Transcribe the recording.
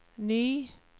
ny